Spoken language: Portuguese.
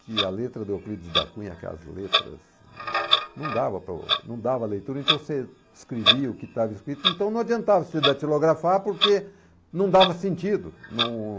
que a letra do Euclides da Cunha, aquelas letras, não dava para o não dava a leitura, então você escrevia o que estava escrito, então não adiantava você datilografar, porque não dava sentido. Não...